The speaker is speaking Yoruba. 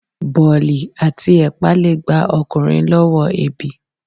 Bolí ati epà le gbá ọkunrin lọwọ ebí